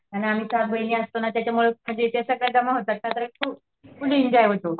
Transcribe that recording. आणि आम्ही पाच बहिणी असतो ना त्याच्यामुळे म्हणजे त्या सगळ्या जमा होतात फुल एन्जॉय करतो